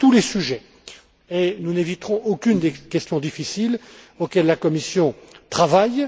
Voilà tous les sujets, et nous n'éviterons aucune des questions difficiles auxquelles la Commission travaille.